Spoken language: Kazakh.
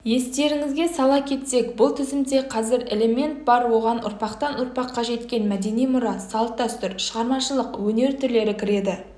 естеріңізге сала кетсек бұл тізімде қазір элемент бар оған ұрпақтан ұрпаққа жеткен мәдени мұра салт-дәстүр шығармашылық өнер түрлері кіреді